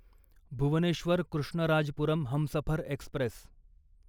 Bhubaneswar Krishnarajapuram Humsafar Express